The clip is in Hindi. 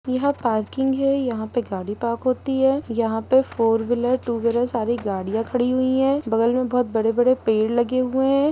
यह पार्किंग है यहां पे गाड़ी पार्क होती है यहां पे फोर वीलर टू व्हीलर गाड़ियां खड़ी हुई है बगल मे बहुत बड़े-बड़े पेड़ लगे हुए है।